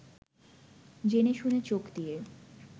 জেনে-শুনে চোখ দিয়ে